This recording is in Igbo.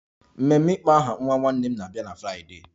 Ememe ịkpọ aha nwa nwanne m na-abịa na Fraịdee